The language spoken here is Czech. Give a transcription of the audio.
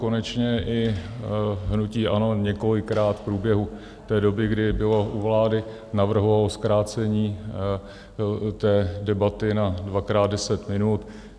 Konečně i hnutí ANO několikrát v průběhu té doby, kdy bylo u vlády, navrhovalo zkrácení té debaty na dvakrát deset minut.